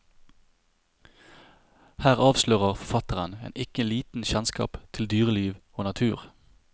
Her avs lører forfatteren en ikke liten kjennskap til dyreliv og natur.